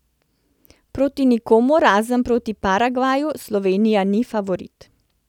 Proti nikomur, razen proti Paragvaju, Slovenija ni favorit.